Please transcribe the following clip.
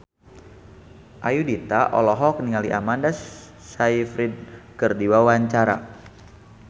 Ayudhita olohok ningali Amanda Sayfried keur diwawancara